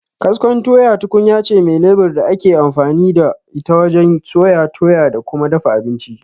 Kaskon tuya tukunyace me lebur da akeyin amfani da ita wajen soya, toya da kuma dafa abinci.